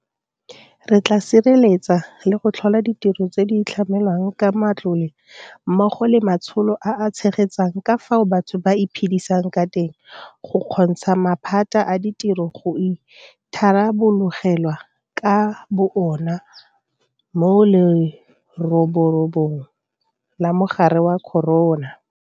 Re tla sireletsa le go tlhola ditiro tse di tlamelwang ka matlole mmogo le matsholo a a tshegetsang ka fao batho ba iphedisang ka teng go kgontsha maphata a ditiro go itharabologelwa ka bo ona mo leroborobong la mogare wa corona.